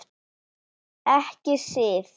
Ekki Sif.